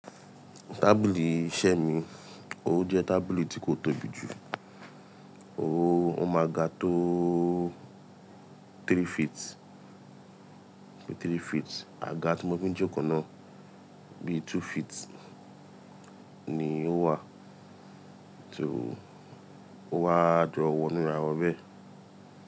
Tábìlì iṣẹ́ mi, ó jẹ́ tábìlì tí kò tóbi jù. Ó máa ga tó three feet, three feet. Àga tí mo fi ń jókòó náà bíi two feet ni ó wà o wá jọ wọnu rawọn bẹ́ẹ̀